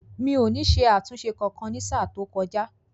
Mi ò ní isé àtúnṣe kankan ní sáà tó kọjá